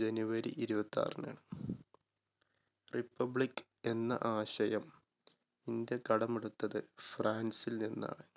january ഇരുപത്താറിനാണ്. republic എന്ന ആശയം ഇന്ത്യ കടമെടുത്തത് ഫ്രാൻ‌സിൽ നിന്നാണ്.